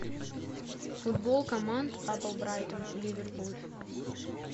футбол команд апл брайтон ливерпуль